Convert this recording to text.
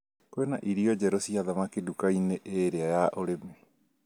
Kwĩna irio njerũ cia thamaki nduka-inĩ ĩrĩa ya ũrĩmi